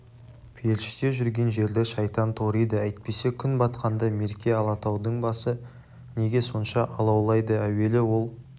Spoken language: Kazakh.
періште жүрген жерді шайтан ториды әйтпесе күн батқанда мерке алатаудың басы неге сонша алаулайды әуелі ол